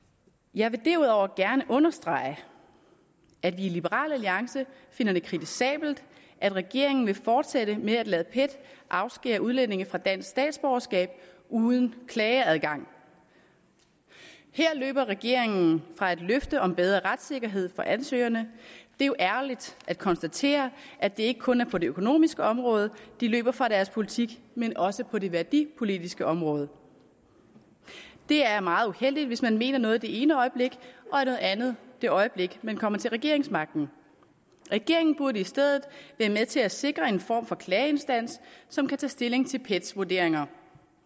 jeg vil derudover gerne understrege at vi i liberal alliance finder det kritisabelt at regeringen vil fortsætte med at lade pet afskære udlændinge fra dansk statsborgerskab uden klageadgang her løber regeringen fra et løfte om bedre retssikkerhed for ansøgerne det er jo ærgerligt at konstatere at det ikke kun er på det økonomiske område de løber fra deres politik men også på det værdipolitiske område det er meget uheldigt hvis man mener noget det ene øjeblik og noget andet det øjeblik man kommer til regeringsmagten regeringen burde i stedet være med til at sikre en form for klageinstans som kan tage stilling til pets vurderinger